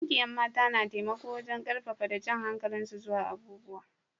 Ƙungiyan mata na taimako wajen karfafa da jan hankalin su zuwa abubuwa.